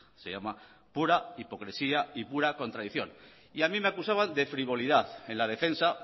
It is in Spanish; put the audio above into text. se llama pura hipocresía y pura contradicción y a mí me acusaban de frivolidad en la defensa